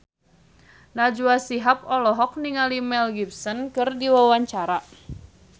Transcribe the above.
Najwa Shihab olohok ningali Mel Gibson keur diwawancara